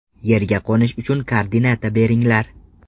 Yerga qo‘nish uchun koordinata beringlar!